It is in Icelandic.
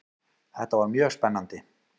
Þetta var mjög spennandi.